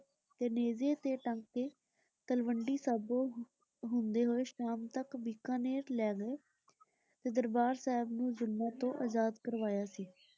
ਤੇ ਨੇਜ਼ੇ ਤੇ ਟੰਗ ਕੇ ਤਲਵੰਡੀ ਸਾਬੋ ਹੁੰਦੇ ਹੋਏ ਸ਼ਾਮ ਤਕ ਬੀਕਾਨੇਰ ਲੈ ਗਏ ਤੇ ਦਰਬਾਰ ਸਾਹਿਬ ਨੂੰ ਜ਼ੁਲਮਾਂ ਤੋਂ ਅਜ਼ਾਦ ਕਰਵਾਇਆ ਸੀ।